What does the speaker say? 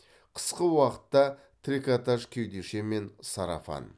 қысқы уақытта трикотаж кеудешемен сарафан